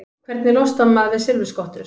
Hvernig losnar maður við silfurskottur?